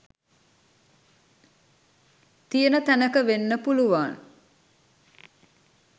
තියන තැනක වෙන්න පුළුවන්